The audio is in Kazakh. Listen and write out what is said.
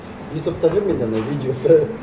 ютубта жүр менде анау видеосы